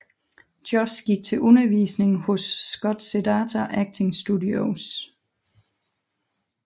Josh gik til undervisning hos Scott Sedita Acting Studios